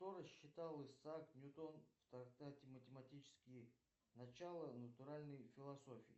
что рассчитал исаак ньютон в трактате математические начала натуральной философии